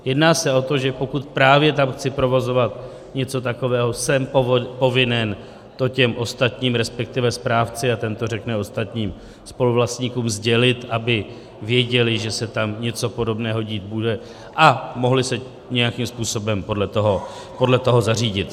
Jedná se o to, že pokud právě tam chci provozovat něco takového, jsem povinen to těm ostatním, respektive správci a ten to řekne ostatním spoluvlastníkům, sdělit, aby věděli, že se tam něco podobného dít bude, a mohli se nějakým způsobem podle toho zařídit.